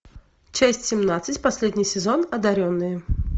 часть семнадцать последний сезон одаренные